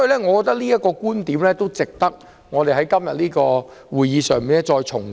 我認為這觀點值得在今天的會議上重提。